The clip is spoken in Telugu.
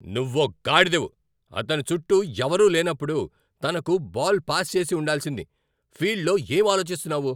నువ్వో గాడిదవు. అతని చుట్టూ ఎవరూ లేనప్పుడు, తనకు బాల్ పాస్ చేసి ఉండాల్సింది. ఫీల్డ్లో ఏం ఆలోచిస్తున్నావు?